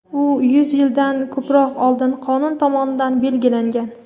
u yuz yildan ko‘proq oldin qonun tomonidan belgilangan.